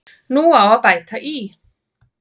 Nú á að bæta í.